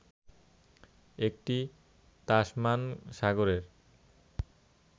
এটি তাসমান সাগরের